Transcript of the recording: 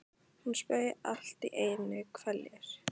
Hún saup allt í einu hveljur.